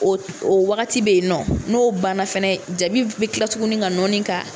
Ɔ o wagati bɛ yen nɔ n'o banna fana jabi bɛ kila tuguni ka nɔɔni ka